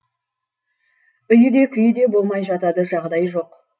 үйі де күйі де болмай жатады жағдайы жоқ